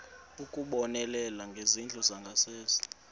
ukubonelela ngezindlu zangasese